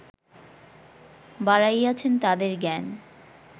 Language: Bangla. বাড়াইয়াছেন তাদের জ্ঞান